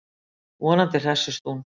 Vonandi hressist hún.